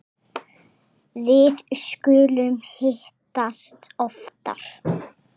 Við skulum hittast oftar